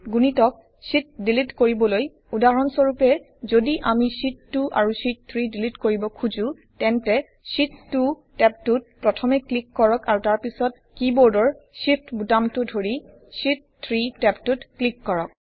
গুণিতক sheet delete কৰিবলৈ উদাহৰণ স্বৰূপে যদি আমি শীত 2 আৰু শীত 3 ডিলিট কৰিব খুজোঁ তেন্তে শীত 2 টেবটোত প্ৰথমে ক্লিক কৰক আৰু তাৰপিছত কিবৰ্ডৰ Shift বুতামটো ধৰিSheet 3 টেবটোত ক্লিক কৰক